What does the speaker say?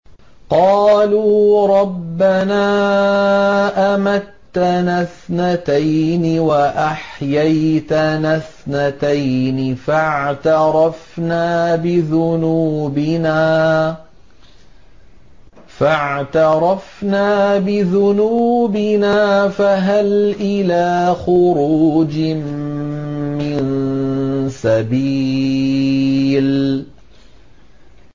قَالُوا رَبَّنَا أَمَتَّنَا اثْنَتَيْنِ وَأَحْيَيْتَنَا اثْنَتَيْنِ فَاعْتَرَفْنَا بِذُنُوبِنَا فَهَلْ إِلَىٰ خُرُوجٍ مِّن سَبِيلٍ